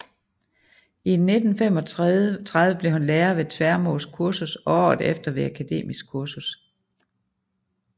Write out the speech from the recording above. I 1935 blev han lærer ved Tvermoes Kursus og året efter ved Akademisk Kursus